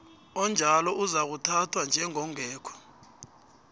onjalo uzakuthathwa njengongekho